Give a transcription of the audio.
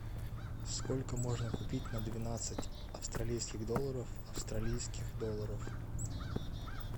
сколько можно купить на двенадцать австралийских долларов австралийских долларов